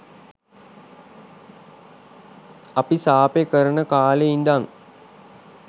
අපි සාපේ කරන කාලේ ඉඳන්